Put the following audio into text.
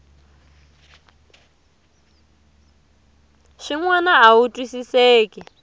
swin wana a wu twisiseki